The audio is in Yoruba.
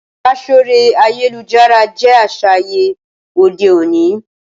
Ìbáṣọ̀rẹ́ ayélujára jé aṣa àyè òde òní